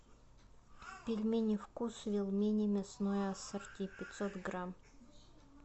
пельмени вкусвилл мини мясное ассорти пятьсот грамм